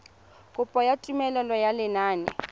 kopo ya tumelelo ya lenane